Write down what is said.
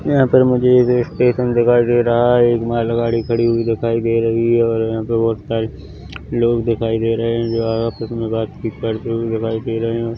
यहाँ पर मुझे एक इस्टेशन दिखाई दे रहा है एक मालगाड़ी खड़ी हुई दिखाई दे रही है और यहाँ पे बहोत सारे लोग दिखाई दे रहे है जो है आपस में बातचीत करते हुए दिखाई दे रहे है।